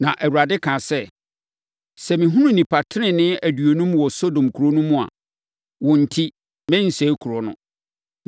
Na Awurade kaa sɛ, “Sɛ mehunu nnipa tenenee aduonum wɔ Sodom kuro no mu a, wɔn enti, merensɛe kuro no.”